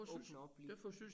Åbner op lige